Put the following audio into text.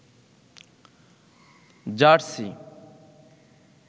jersey